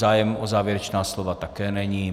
Zájem o závěrečná slova také není.